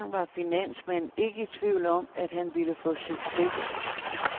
Dengang var finansmanden ikke i tvivl om, at han ville få succes.